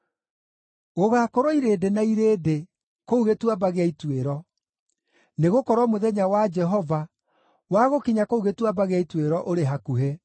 Gũgaakorwo irĩndĩ na irĩndĩ, kũu gĩtuamba gĩa ituĩro! Nĩgũkorwo mũthenya wa Jehova wa gũkinya kũu gĩtuamba gĩa ituĩro ũrĩ hakuhĩ.